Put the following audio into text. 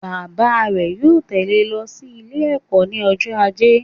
Bàbá rè yóò tẹ̀lẹ́ e lo sí Ilé ẹ̀kó ní ọjọ́ ajé